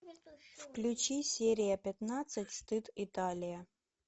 включи серия пятнадцать стыд италия